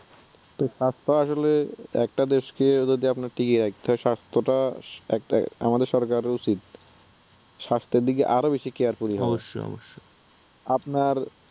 তো স্বাস্থ্য আসলে একটা দেশকে যদি আপনার টিকিয়ে রাখতে হয় স্বাস্থ্যটা, একটা আমাদের সরকারের উচিত স্বাস্থ্য দিকে আরও বেশি careful হওয়া, আপনার